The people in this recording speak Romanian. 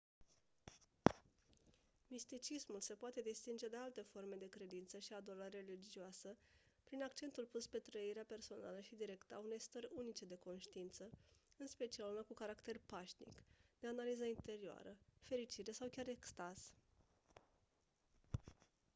misticismul se poate distinge de alte forme de credință și adorare religioasă prin accentul pus pe trăirea personală și directă a unei stări unice de conștiință în special una cu caracter pașnic de analiză interioară fericire sau chiar extaz